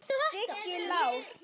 Siggi Lár.